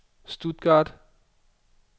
Stuttgart